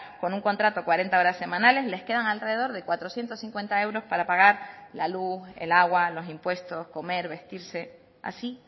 con un contrato cuarenta horas semanales les quedan alrededor de cuatrocientos cincuenta euros para pagar la luz el agua los impuestos comer vestirse así